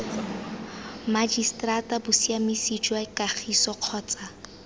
mmagiseterata bosiamisi jwa kagiso kgotsa